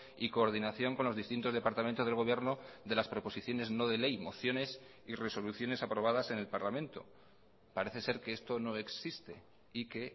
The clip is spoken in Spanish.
y coordinación con los distintos departamentos del gobierno de las proposiciones no de ley mociones y resoluciones aprobadas en el parlamento parece ser que esto no existe y que